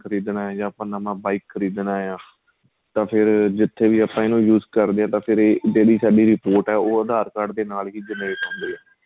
ਖਰੀਦਣਾ ਏ ਜਾਂ ਨਵਾਂ bike ਖਰੀਦਣਾ ਏ ਤਾਂ ਫ਼ੇਰ ਜਿਥੇ ਵੀ ਆਪਾਂ ਇਹਨੂੰ use ਕਰਦੇ ਹਾਂ ਫ਼ੇਰ ਏ daily ਸਾਡੀ report ਆਂ ਉਹ aadhar card ਦੇ ਨਾਲ ਹੀ gen-rate ਹੰਦੀ ਏ